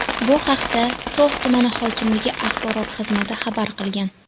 Bu haqda So‘x tumani hokimligi axborot xizmati xabar qilgan .